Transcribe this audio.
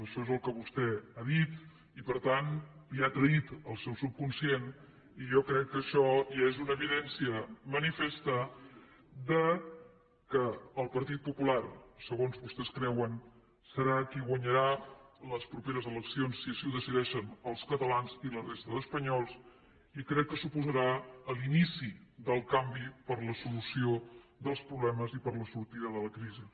això és el que vostè ha dit i per tant l’ha traït el seu subconscient i jo crec que això ja és una evidència manifesta que el partit popular segons creuen vostès serà qui guanyarà les properes eleccions si així ho decideixen els catalans i la resta d’espanyols i crec que suposarà l’inici del canvi per a la solució dels problemes i per a la sortida de la crisi